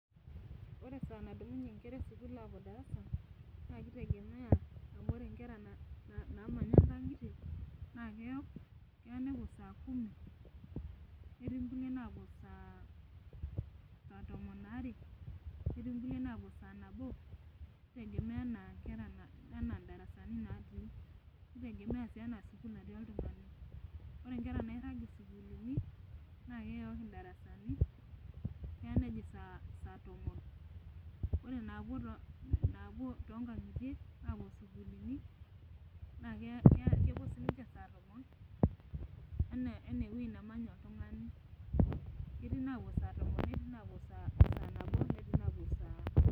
Ore esaa nadumunye nkera esukuul aapuo darasa, naa kitegemea amu ore nkera naamanya nkang'itie naa keyok. keya nepuo saa kumi netii nkulie naapuo saa tomon are, netii nkulie naapuo saa nabo. kitegemea anaa darasani natii. nitegemea sii anaa sukuul natii oltungani. ore nkera nairag isukulini naa keyooli darasani. keya nejing saa tomon. ore naapuo too nkang'itie naa kepuo nkulie saa tomon anaa ewueji nemanya oltungani. ketii inaapu saa tomon netii inapuo saa nabo, netii naapuo saa.